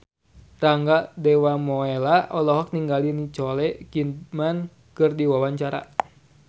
Rangga Dewamoela olohok ningali Nicole Kidman keur diwawancara